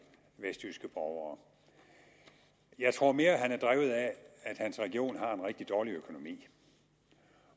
vestjyske borgere jeg tror mere at han er drevet af at hans region har en rigtig dårlig økonomi